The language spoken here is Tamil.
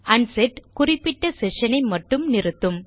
அன்செட் குறிப்பிட்ட செஷன் ஐ மட்டுமே நிறுத்தும்